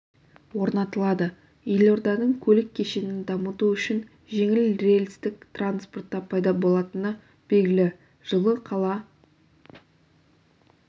орнатылады елорданың көлік кешенін дамыту үшін жеңіл рельстік транспорт та пайда болатыны белгілі жылы қала